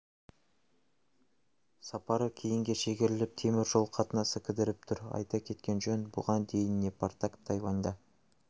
сапары кейінге шегеріліп темір жол қатынасы кідіріп тұр айта кеткен жөн бұған дейін непартак тайваньда